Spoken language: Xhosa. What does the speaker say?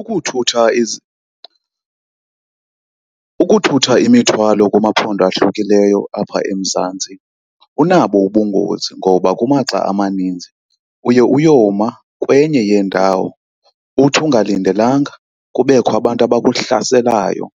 Ukuthutha , ukuthutha imithwalo kumaphondo ahlukileyo apha eMzantsi kunabo ubungozi. Ngoba kumaxa amaninzi uye uyoma kwenye yeendawo, uthi ungalindelekanga kubekho abantu abakuhlaselayo,